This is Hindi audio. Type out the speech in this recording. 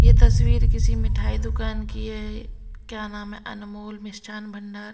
यह तस्वीर किसी मिठाई दुकान की है क्या नाम है अनमोल मिष्ठान भंडार।